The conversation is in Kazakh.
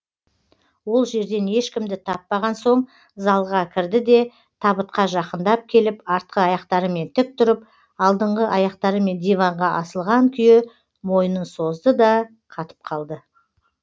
ол жерден ешкімді таппаған соң залға кірді де табытқа жақындап келіп артқы аяқтарымен тік тұрып алдыңғы аяқтарымен диванға асылған күйі мойнын созды да қатып қалды